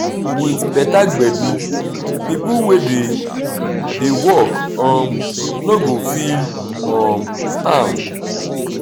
with better gbedu pipo wey dey dey work um no go feel um am